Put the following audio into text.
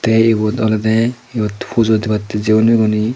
ey ebot olodey mokti pujo debattey jeyon oboney.